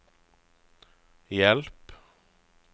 hjelp